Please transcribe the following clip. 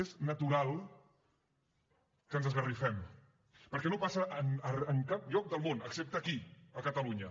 és natural que ens esgarrifem perquè no passa en cap lloc del món excepte aquí a catalunya